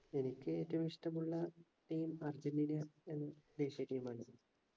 എനിക്ക് ഏറ്റവും ഇഷ്ട്ടമുള്ള team അർജന്റീന എന്ന ദേശീയ team ആണ്